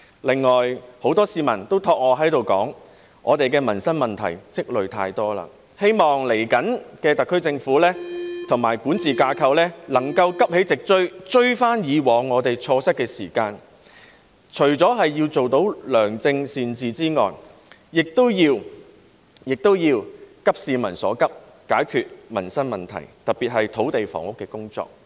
此外，很多市民都交託我在這裏說，我們已積累太多民生問題，希望特區政府和管治架構接下來能夠急起直追，追回以往錯失的時間，除了要做到良政善治外，也要急市民所急，解決民生問題，特別是土地房屋的工作。